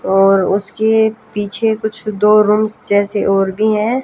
और उसके पीछे कुछ दो रूम्स जैसे और भी हैं।